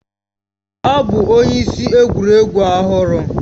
Ọ bụ onye isi egwuregwu ọhụrụ